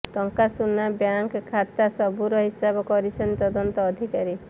ଟଙ୍କା ସୁନା ବ୍ୟାଙ୍କ ଖାତା ସବୁର ହିସାବ କରୁଛନ୍ତି ତଦନ୍ତ ଅଧିକାରୀ